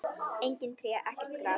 Engin tré, ekkert gras.